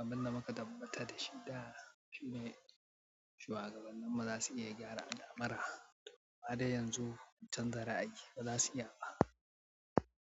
abin da muka tabbatar da shi da shine shuwagabanninmu za su iya gyara alamura amma dai yanzu sun canza ra'ayi, ba za su iya ba.